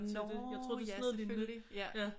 Nå ja selvfølgelig ja